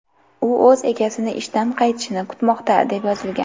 U o‘z egasini ishdan qaytishini kutmoqda!”, deb yozilgan.